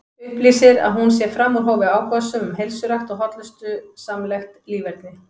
Upplýsir að hún sé fram úr hófi áhugasöm um heilsurækt og hollustusamlegt líferni.